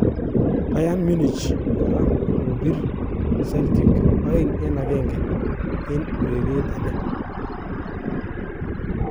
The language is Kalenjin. Bayern Munich kora kokorirl kokopir Celtic 2-1 en ureret age.